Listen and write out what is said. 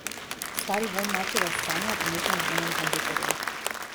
Stari vonj mačjega scanja, pomešan z vonjem hamburgerjev.